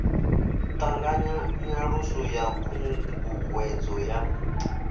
ṱanganya nyaluso ya khunguwedzo ya